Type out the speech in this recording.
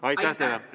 Aitäh teile!